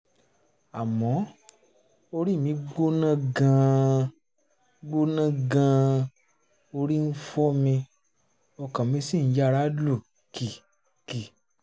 àmọ́ orí mi gbóná gan-an gbóná gan-an orí ń fọ́ mi ọkàn mi sì ń yára lù kìkì